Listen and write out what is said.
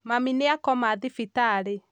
Mami nĩakoma thibitarĩ